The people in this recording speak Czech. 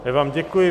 Já vám děkuji.